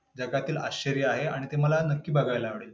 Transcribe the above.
जगातील आश्चर्य आहे. आणि ते मला नक्की बघायला आवडेल.